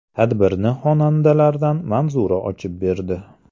Tadbirni xonandalardan Manzura ochib berdi.